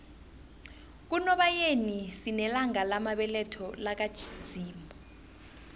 kunobayeni sinelanga lamabeletho laka zimu